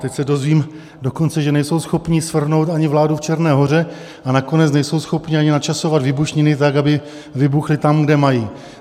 Teď se dozvím dokonce, že nejsou schopni svrhnout ani vládu v Černé Hoře, a nakonec nejsou schopni ani načasovat výbušniny, tak aby vybuchly tam, kde mají.